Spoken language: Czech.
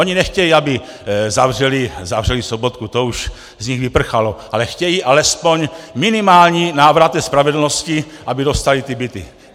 Oni nechtějí, aby zavřeli Sobotku, to už z nich vyprchalo, ale chtějí alespoň minimální návrat spravedlnosti, aby dostali ty byty.